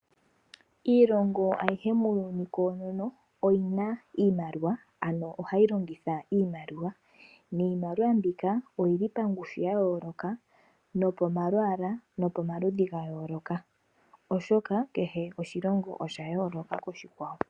Iilongo ayihe muuyuni koonono oyi na iimaliwa, ano ohayi longitha iimaliwa. Niimaliwa mbika oyi li pangushu ya yooloka nopomalwaala nopomaludhi ga yooloka, oshoka kehe oshilongo osha yooloka koshikwawo.